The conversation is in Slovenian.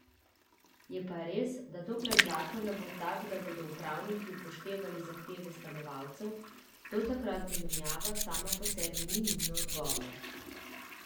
Je pa res, da dokler zakon ne bo tak, da bodo upravniki upoštevali zahteve stanovalcev, do takrat zamenjava sama po sebi ni nujno odgovor.